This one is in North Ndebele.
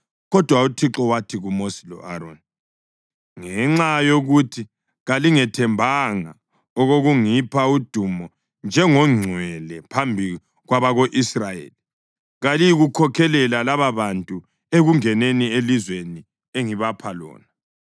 Kodwa uThixo wathi kuMosi lo-Aroni, “Ngenxa yokuthi kalingethembanga okokungipha udumo njengongcwele phambi kwabako-Israyeli, kaliyikukhokhelela lababantu ekungeneni elizweni engibapha lona.”